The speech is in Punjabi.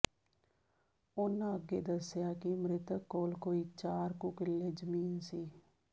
ਉਨ੍ਹਾਂ ਅੱਗੇ ਦੱਸਿਆ ਕਿ ਮ੍ਰਿਤਕ ਕੋਲ ਕੋਈ ਚਾਰ ਕੁ ਕਿੱਲੇ ਜ਼ਮੀਨ ਸੀ